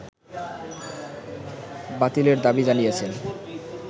বাতিলের দাবি জানিয়েছেন